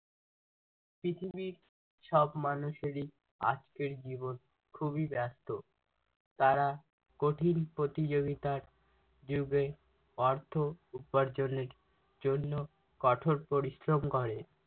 পৃথিবীর সব মানুষেরি আজকের জীবন খুবই ব্যস্ত তারা কঠিন প্রতিযোগিতার যুগে অর্থ উপার্জনের জন্য কঠোর পরিশ্রম করে